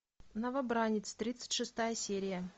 новобранец тридцать шестая серия